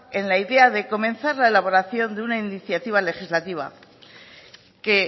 en la idea de comenzar la elaboración de una iniciativa legislativa que